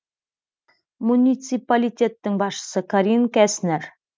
муниципалитеттің басшысы карин кестнер